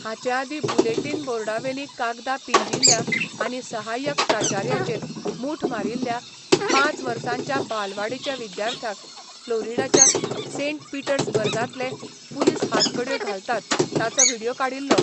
हाचे आदीं बुलेटिन बोर्डावेलीं कागदां पिंजिल्ल्या आनी सहाय्यक प्राचार्याचेर मूठ मारिल्ल्या, पांच वर्सांच्या बालवाडीच्या विद्यार्थ्याक फ्लोरिडाच्या सेंट पीटर्सबर्गांतले पुलीस हातकडयो घालतात ताचो व्हिडियो काडिल्लो.